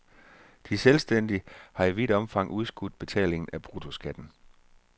De selvstændige har i vidt omfang udskudt betalingen af bruttoskatten.